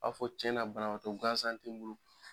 A b’a fɔ cɛnna banatɔ gansan ti bolo